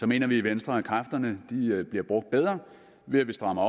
mener vi i venstre at kræfterne bliver brugt bedre ved at vi strammer